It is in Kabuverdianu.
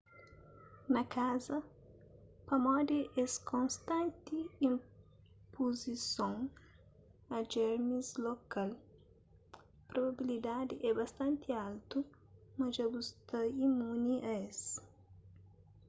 na kaza pamodi es konstanti ispuzison a jermis lokal probabilidadi é bastanti altu ma dja bu sta imuni a es